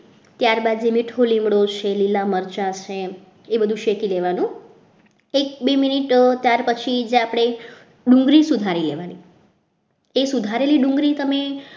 ત્યારબાદ જે મીઠો લીમડો છે લીલા મરચા છે એ બધું શેકી દેવાનું એક બે મિનિટ ત્યાર પછી આપણે જે ડુંગળી સુધારી લેવાની એ સુધારેલી ડુંગળી તમે